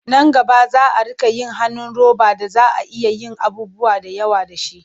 Nan gaba za a riƙa yin hannun roba da za a iya yin abubuwa da yawa da shi.